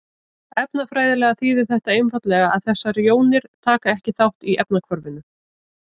Efnafræðilega þýðir þetta einfaldlega að þessar jónir taka ekki þátt í efnahvarfinu.